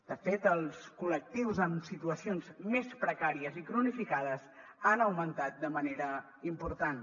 de fet els col·lectius amb situacions més precàries i cronificades han augmentat de manera important